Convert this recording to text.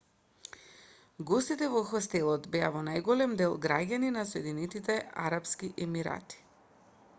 гостите во хостелот беа во најголем дел граѓани на соединетите арапски емирати